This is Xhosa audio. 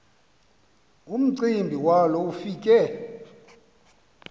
umcimbi walo ufike